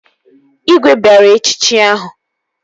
Igwe bịara echichi ahụ